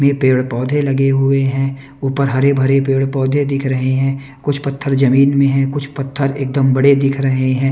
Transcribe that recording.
में पेड़-पौधे लगे हुए हैं ऊपर हरे भरे पेड़-पौधे दिख रहे हैं कुछ पत्थर जमीन में है कुछ पत्थर एकदम बड़े दिख रहे हैं।